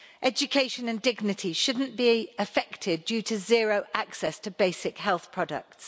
Education and dignity shouldn't be affected owing to zero access to basic health products.